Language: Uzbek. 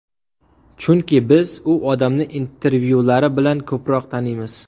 Chunki biz u odamni intervyulari bilan ko‘proq taniymiz.